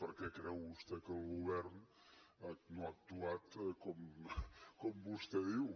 per què creu vostè que el govern no ha actuat com vostè diu